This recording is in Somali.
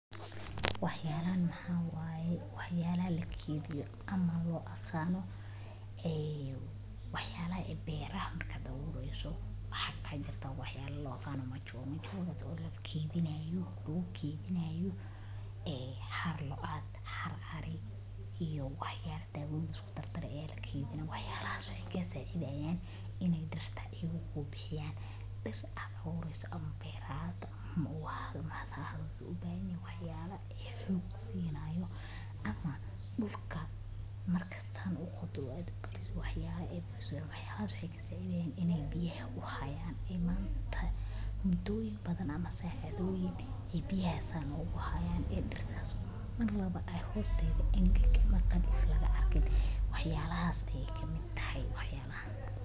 Waxyaalahan maxay yihiin Waxyaalaha la keediyo ama loo yaqaan waxyaalaha beeralayda marka ay abuurayaan. Waxaa jira waxyaalo loo yaqaan 'mature' oo la keedinayo, oo lagu keedinayo xaar, loo adeegsado xaar ari, iyo waxyaalo dawo la isku darey oo la keediyo. Waxyaalahaas waxay ka caawiyaan in ay dhoobada ay ku jiraan bixiyaan diir marka aad abuurayso, ha ahaato beer ama ubax. Waxaa loo baahan yahay waxyaalo xoog siinayo ama markaad dhulka qoddo aad ku riddo waxyaalo kuu sii haya. Waxyaalahaas waxay ka caawiyaan in ay biyaha u hayaan muddo dheer iyo saacado ay biyaha sidaas u hayaan, si dhulkaas aan marnaba agtiisa qalalan ama engegan laga arkin. Waxyaalahaas ayaa ka mid ah.